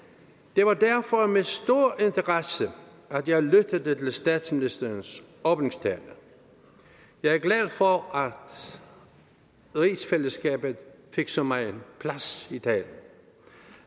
det var derfor med stor interesse at jeg lyttede til statsministerens åbningstale jeg er glad for at rigsfællesskabet fik så megen plads i dag